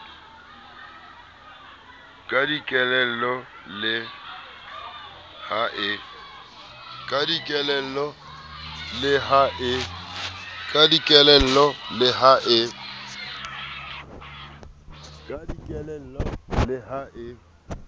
ka dikelello le ha e